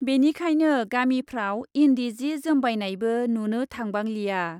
बेखायनो गामिफ्राव इन्दि जि जोमबायनायबो नुनो थांबांलिया ।